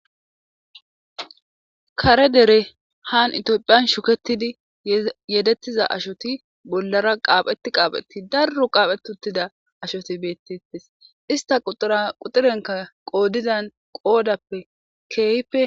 kare dere haan itiophiyan shuketidi yedettiza ashoti bollara qaaphetti qaaphetti darru qaaphet uttida ashoti bettettes ista quxurenka qoodidan qoodappe kipe